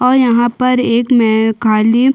और यहाँ पर एक मै खाली--